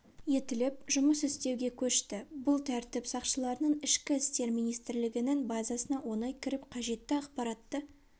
етіліп жұмыс істеуге көшті бұл тәртіп сақшыларының ішкі істер министрлігінің базасына оңай кіріп қажетті ақпаратты